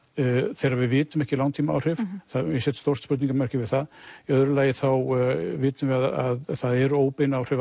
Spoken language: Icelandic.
þegar við vitum ekki langtímaáhrif ég set stórt spurngarmerki við það í öðru lagi þá vitum við að það eru óbein áhrif